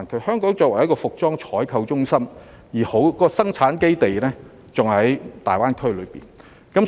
香港作為一個服裝採購中心，生產基地還在大灣區。